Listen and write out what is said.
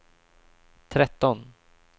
tretton